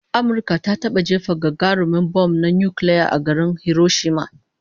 Amurka ta taba jefa gagarumin bam na nukiliya a garin Hiroshima